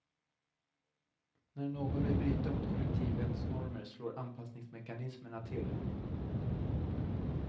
När någon vill bryta mot kollektivets normer slår anpassningsmekanismerna till.